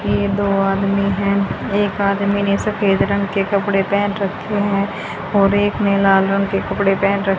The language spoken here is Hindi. ये दो आदमी हैं एक आदमी ने सफेद रंग के कपड़े पहेन रखे हैं और एक में लाल रंग के कपड़े पहने र--